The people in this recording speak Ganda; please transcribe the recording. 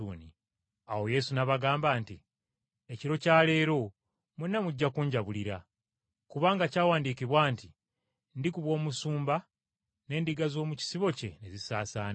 Awo Yesu n’abagamba nti, “Ekiro kya leero mwenna mujja kunjabulira. “Kubanga kyawandiikibwa nti, ‘Ndikuba omusumba n’endiga z’omu kisibo kye ne zisaasaana.’